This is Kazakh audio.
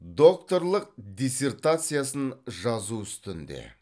докторлық диссертациясын жазу үстінде